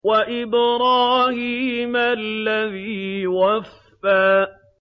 وَإِبْرَاهِيمَ الَّذِي وَفَّىٰ